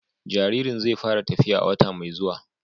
Jaririn zai fara tafiya a wata mai zuwa.